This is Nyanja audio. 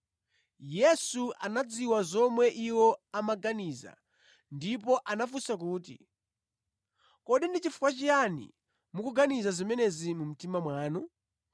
Yesu anadziwa zomwe iwo amaganiza ndipo anafunsa kuti, “Kodi ndi chifukwa chiyani mukuganiza zimenezi mʼmitima mwanu?